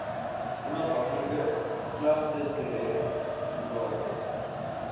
onhafhanklike klagtesdirek toraat